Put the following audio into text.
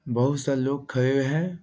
बहुत सारे लोग खड़े हुए हैं।